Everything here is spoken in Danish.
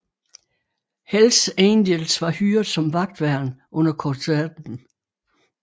Hells Angels var hyret som vagtværn under koncerten